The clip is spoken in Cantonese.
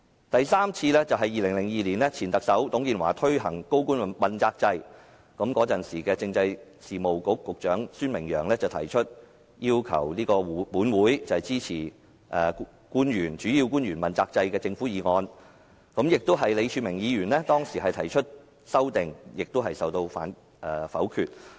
第三次是在2002年，前特首董建華推行高官問責制，時任政制事務局局長孫明揚提出要求立法會支持主要官員問責制的政府議案，當時李柱銘議員亦曾提出修正案，但同樣遭到否決。